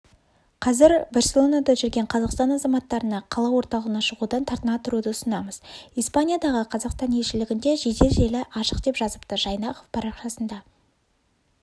қазір барселонада жүрген қазақстан азаматтарына қала орталығына шығудан тартына тұруды ұсынамыз испаниядағы қазақстан елшілігінде жедел желі ашық деп жазыпты жайнақов парақшасында